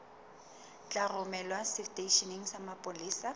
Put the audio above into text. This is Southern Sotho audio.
tla romelwa seteisheneng sa mapolesa